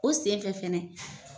O senfɛ fɛnɛ